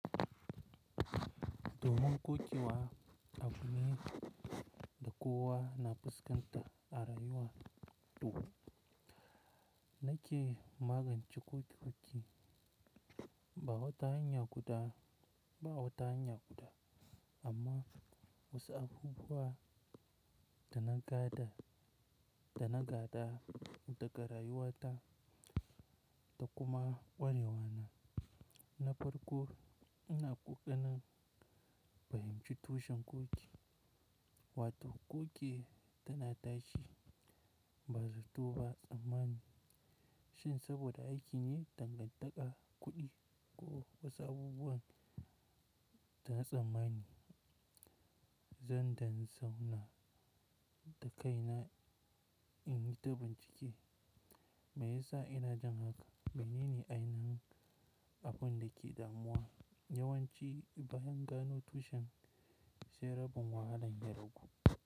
Doman kuki wa a wuni da kowa na fuskanta a rayuwa to na ce magance kuki-kuki ba wata hanya guda, ba wata hanya guda, amma wasu abubuwa dana gada, dana gada, daga ga rayuwata da kuma ƙwarewana. Na farko ina ƙoƙarin bayyana tushen kuki, wato kuki, tana tashi ba zato ba tsammani. Shin saboda aikin ne dangantaka, kuɗi ko wasu abubuwan dana tsammani? Zan dan zauna da kaina inyi ta bincike. Me yasa ina jin haka? Menene ainihin, abundake damuwa? Yawanci bayan gano tushen, sai rabin wahalan ya ragu.